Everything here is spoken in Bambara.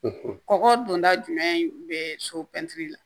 Kɔkɔ dunda jumɛn be so pɛntiri la